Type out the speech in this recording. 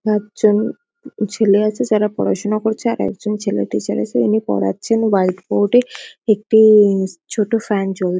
একজন ছেলে আছে যারা পড়াশুনা করছে। আরেকজন ছেলে টিচার আছে। উনি পড়াচ্ছেন হোয়াইট বোর্ড -এ একটুউউউ ছোট ফ্যান চল --